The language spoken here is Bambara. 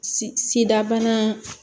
Si sida bana